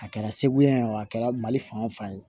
A kɛra segu yan o a kɛra mali fan o fan ye